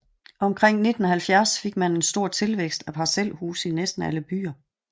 Omkring 1970 fik man en stor tilvækst af parcelhuse i næsten alle byer